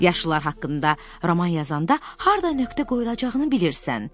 Yaşlılar haqqında roman yazanda harda nöqtə qoyulacağını bilirsən.